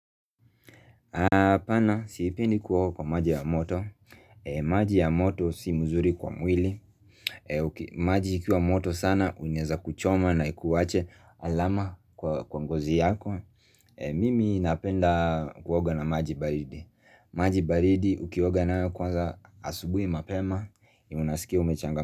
Pana siipendi kuoga kwa maji ya moto maji ya moto si muzuri kwa mwili. Maji ikiwa moto sana unyeza kuchoma na kuwache alama kwa ngozi yako. Mimi napenda kuoga na maji baridi. Maji baridi ukioga nayo kwanza asubui mapema Unasikia umechanga.